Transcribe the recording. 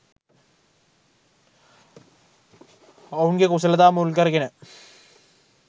ඔවුන්ගේ කුසලතා මුල්කරගෙන